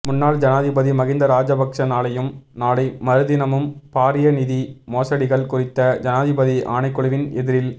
முன்னாள் ஜனாதிபதி மஹிந்த ராஜபக்ச நாளையும் நாளை மறுதினமும் பாரிய நிதி மோசடிகள் குறித்த ஜனாதிபதி ஆணைக்குழுவின் எதிரில்